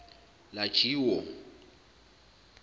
lajiwo